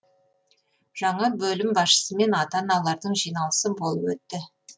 жаңа бөлім басшысымен ата аналардың жиналысы болып өтті